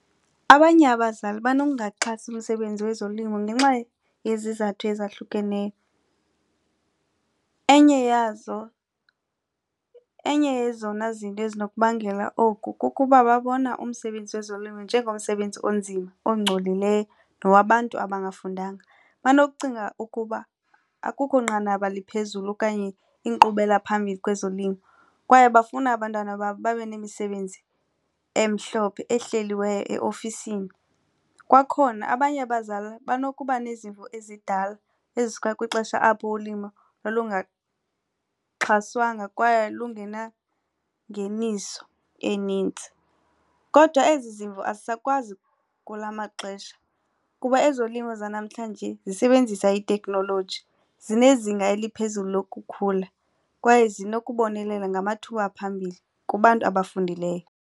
Abanye abazali banokungaxhasi umsebenzi wezolimo ngenxa yezizathu ezahlukeneyo. Enye yazo, enye yezona zinto ezinokubangela oku kukuba babona umsebenzi wezolimo njengomsebenzi onzima ongcolileyo nowabantu abangafundanga. Banokucinga ukuba akukho nqanaba liphezulu okanye inkqubela phambili kwezolimo kwaye bafuna abantwana babo babe nemisebenzi emhlophe ehleliweyo eofisini. Kwakhona abanye abazali banokuba nezimvo ezidala ezisuka kwixesha apho ulimo lwalungaxhaswanga kwaye lungenangeniso enintsi. Kodwa ezi zimvo azisakwazi kula maxesha kuba ezolimo zanamhlanje zisebenzisa itekhnoloji, zinezinga eliphezulu lokukhula kwaye zinokubonelela ngamathuba aphambili kubantu abafundileyo.